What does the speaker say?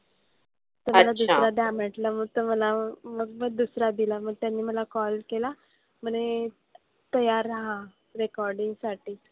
तर मला दुसरा द्या म्हंटलं मग तर मला मग दुसरा दिला. त्यांनी मला call केला. म्हणे तयार राहा recording साठी.